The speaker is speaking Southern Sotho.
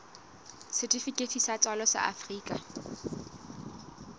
setifikeiti sa tswalo sa afrika